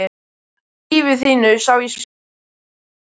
Í lífi þínu sá ég spor mín út um allt.